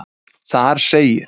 Þar segir.